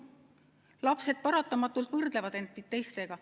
Lapsed paratamatult võrdlevad end teistega.